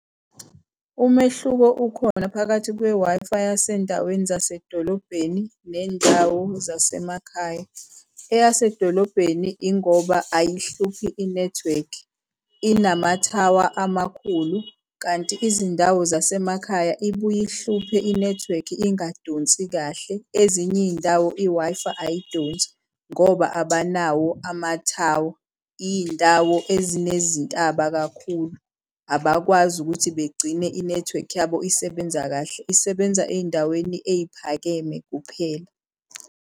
Umehluko ukhona phakathi kwe-Wi-Fi yasendaweni zasedolobheni nendawo zasemakhaya. Eyasemadolobheni ingoba ayihluphi inethiwekhi inamathawa amakhulu, kanti izindawo zasemakhaya ibuye ihluphe inethiwekhi ingadonsi kahle. Ezinye iy'ndawo i-Wi-Fi ayidonsi ngoba abanawo ama thawa, iy'ndawo ezinezintaba kakhulu abakwazi ukuthi begcine inethiwekhi yabo isebenza kahle, isebenza ey'ndaweni ey'phakeme kuphela.